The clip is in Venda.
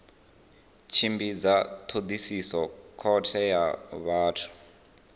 tshimbidza thodisiso khothe ya vhathu